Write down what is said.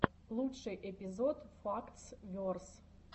лучший эпизод фактс верс